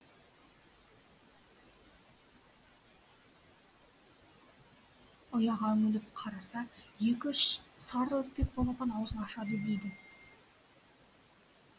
ұяға үңіліп қараса екі үш сары үрпек балапан аузын ашады дейді